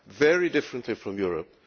Very differently from Europe.